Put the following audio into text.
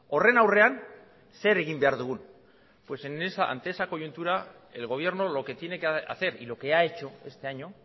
horren aurrean zer egin behar dugun pues ante esa coyuntura el gobierno lo que tiene que hacer y lo que ha hecho este año